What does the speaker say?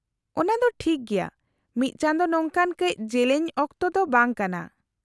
-ᱚᱱᱟ ᱫᱚ ᱴᱷᱤᱠ ᱜᱮᱭᱟ, ᱢᱤᱫ ᱪᱟᱸᱫᱳ ᱱᱚᱝᱠᱟᱱ ᱠᱟᱹᱪ ᱡᱮᱞᱮᱧ ᱚᱠᱛᱚ ᱫᱚ ᱵᱟᱝ ᱠᱟᱱᱟ ᱾